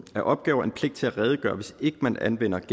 af opgaver en pligt til at redegøre hvis ikke man anvender